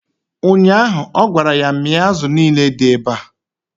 ụnyaahụ, ọ gwara ya 'mịa azụ niile dị ebea!